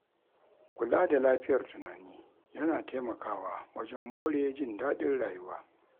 Kula da lafiyar tunani yana taimakawa wajen more jin daɗin rayuwa.